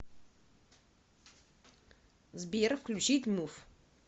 сбер включить муф